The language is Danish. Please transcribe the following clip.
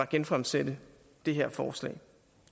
genfremsætte det her forslag